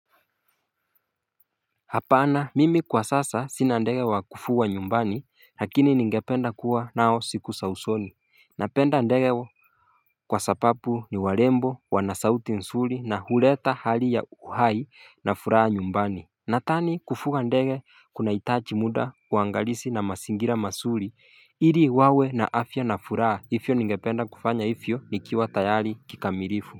Hapana mimi kwa sasa sina ndege wa kufuga nyumbani lakini ningependa kuwa nao siku za usoni Napenda ndege wa kwa sababu ni warembo wana sauti nzuri na huleta hali ya uhai na furaha nyumbani Nathani kufuga ndege kuna itaji muda uangalizi na mazingira mazuri ili wawe na afya na furaha ivyo ningependa kufanya ivyo nikiwa tayari kikamilifu.